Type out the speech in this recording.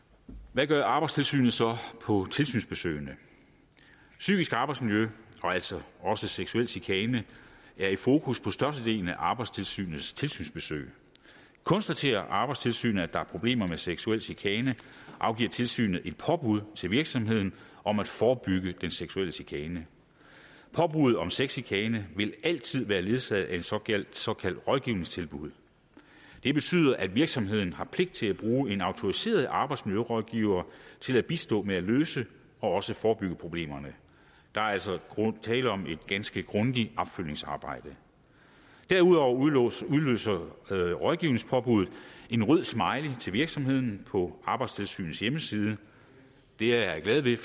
hvad gør arbejdstilsynet så på tilsynsbesøgene psykisk arbejdsmiljø og altså også seksuel chikane er i fokus på størstedelen af arbejdstilsynets tilsynsbesøg konstaterer arbejdstilsynet at der er problemer med seksuel chikane afgiver tilsynet et påbud til virksomheden om at forebygge den seksuelle chikane påbud om sexchikane vil altid være ledsaget af et såkaldt såkaldt rådgivningstilbud det betyder at virksomheden har pligt til at bruge en autoriseret arbejdsmiljørådgiver til at bistå med at løse og også forebygge problemerne der er altså tale om et ganske grundigt opfølgningsarbejde derudover udløser rådgivningspåbuddet en rød smiley til virksomheden på arbejdstilsynets hjemmeside det er jeg glad ved